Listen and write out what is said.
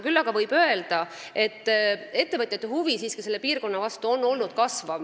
Küll aga võib öelda, et ettevõtjate huvi selle piirkonna vastu on kasvanud.